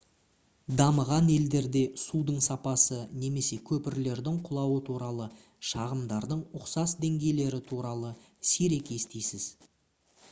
дамыған елдерде судың сапасы немесе көпірлердің құлауы туралы шағымдардың ұқсас деңгейлері туралы сирек естисіз